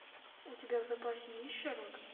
у тебя в запасе есть шерлок